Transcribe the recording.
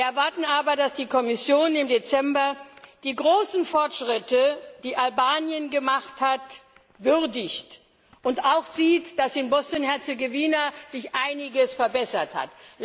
Wir erwarten aber, dass die Kommission im Dezember die großen Fortschritte, die Albanien gemacht hat, würdigt und auch sieht, dass sich in Bosnien Herzegowina einiges verbessert hat.